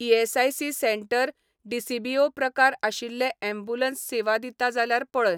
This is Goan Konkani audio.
ईएसआयसी सेंटर डीसीबीओ प्रकार आशिल्लें ऍम्ब्युलन्स सेवा दिता जाल्यार पळय.